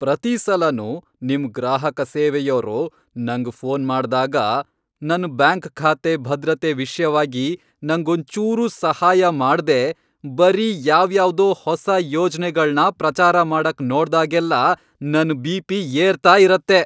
ಪ್ರತೀಸಲನೂ ನಿಮ್ ಗ್ರಾಹಕ ಸೇವೆಯೋರು ನಂಗ್ ಫೋನ್ ಮಾಡ್ದಾಗ, ನನ್ ಬ್ಯಾಂಕ್ ಖಾತೆ ಭದ್ರತೆ ವಿಷ್ಯವಾಗಿ ನಂಗೊಂಚೂರೂ ಸಹಾಯ ಮಾಡ್ದೆ ಬರೀ ಯಾವ್ಯಾವ್ದೋ ಹೊಸ ಯೋಜ್ನೆಗಳ್ನ ಪ್ರಚಾರ ಮಾಡಕ್ ನೋಡ್ದಾಗೆಲ್ಲ ನನ್ ಬಿ.ಪಿ. ಏರ್ತಾ ಇರತ್ತೆ.